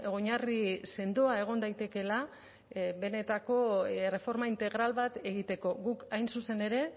oinarri sendoa egon daitekeela benetako erreforma integral bat egiteko guk hain zuzen ere